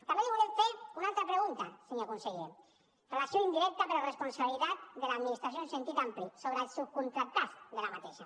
també li volem fer una altra pregunta senyor conseller relació indirecta però responsabilitat de l’administració en sentit ampli sobre els subcontractats d’aquesta